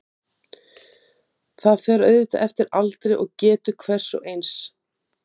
Opið Tölt